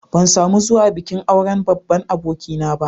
Ban samu zuwa bikin auren babban abokina ba.